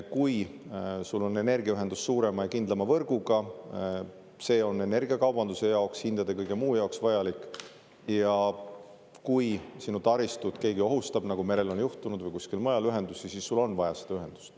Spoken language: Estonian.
Kui sul on energiaühendus suurema ja kindlama võrguga, see on energiakaubanduse jaoks, hindade, kõige muu jaoks vajalik, ja kui sinu taristut keegi ohustab – nagu merel on juhtunud – või kusagil mujal ühendusi, siis sul on vaja seda ühendust.